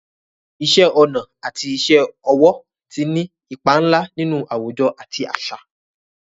Iṣẹ́ ọnà àti iṣẹ́ ọwọ́ ti ní ipa ńlá nínú àwùjọ àti àṣà.